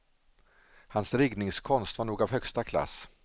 Hans riggningskonst var nog av högsta klass.